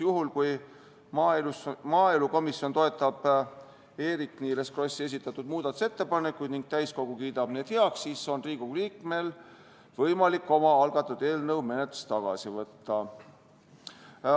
Juhul, kui maaelukomisjon toetab Eerik-Niiles Krossi esitatud muudatusettepanekuid ning täiskogu kiidab need heaks, siis on Riigikogu liikmetel võimalik oma algatatud eelnõu menetlusest tagasi võtta.